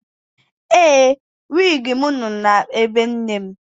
Ee, wịgị m nọ na ebe nne m.